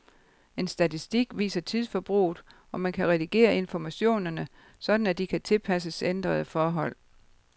En statistik viser tidsforbruget, og man kan redigere informationerne, sådan at de kan tilpasses ændrede forhold.